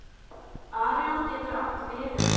Arion getur átt við um